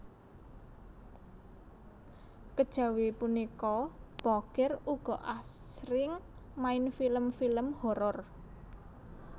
Kejawi punika Bokir ugi asring main film film horor